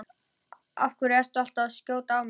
Af hverju ertu alltaf að skjóta á mig?